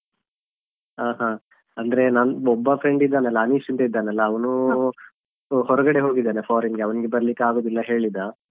ಹ ಹಾ ಅಂದ್ರೆ ನಂದು ಒಬ್ಬ friend ಇದ್ದನೆಲ್ಲಾ ಅನಿಶ್ ಅಂತ ಇದಾನಲ್ಲ ಅವನೂ ಹೊರಗಡೆ ಹೋಗಿದ್ದಾನೆ foreign ಗೆ ಅವನಿಗೆ ಬರ್ಲಿಕ್ಕೆ ಆಗುದಿಲ್ಲಾ ಹೇಳಿದ.